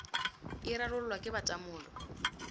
e rarollwa ke ba tamolo